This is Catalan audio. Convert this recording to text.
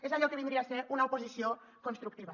és allò que vindria a ser una oposició constructiva